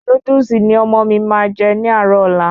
Núdúsì ni ọmọ mi máa jẹ ní àárò ọ́la